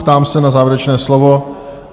Ptám se na závěrečné slovo?